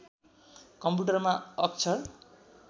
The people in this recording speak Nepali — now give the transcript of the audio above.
कम्प्युटरमा अक्षर